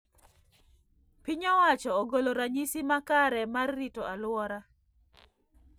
Piny owacho ogolo ranyisi ma kare mar rito aluora